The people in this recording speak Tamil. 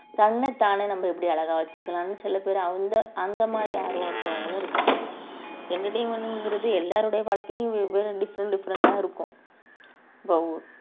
தன்னைத்தானே நம்ம எப்படி அழகா வச்சுக்கலாம்ன்னு சில பேர் அந்த அந்த மாதிரி ஆர்வம் இருக்கிறவங்களும் இருக்காங்க entertainment ங்கிறது எல்லாருடைய வாழ்க்கையும் வெவ்வேறு different different ஆ இருக்கும்